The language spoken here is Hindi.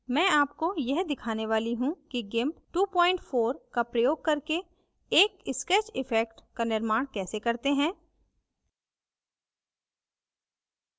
my आपको यह दिखाने वाली how कि gimp 24 का प्रयोग करके एक sketch effect का निर्माण कैसे करते हैं